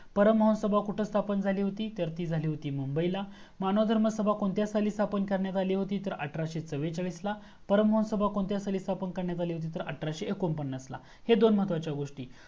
परम हंस सभा कुठे स्थापन झाली होती तर ती झाली होती मुंबईला मानव धर्म सभा कोणत्या साली स्थापन झाली होती तर आठराशे चव्वेचाळीस ला, परम हंस सभा कोणत्या साली स्थापन करण्यात आली होती तर आठराशे एक्कोंपन्नासला हे दोन महत्वाच्या गोस्टी